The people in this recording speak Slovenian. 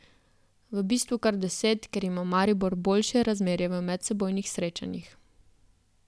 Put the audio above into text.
V bistvu kar deset, ker ima Maribor boljše razmerje v medsebojnih srečanjih.